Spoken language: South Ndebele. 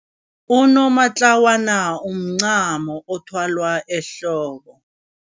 Unomatlawana umncamo othwalwa ehloko.